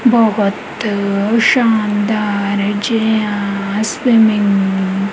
ਬਹੁਤ ਸ਼ਾਨਦਾਰ ਜਿਹਾ ਸਵਿਮਿੰਗ --